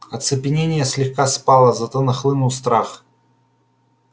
оцепенение слегка спало зато нахлынул страх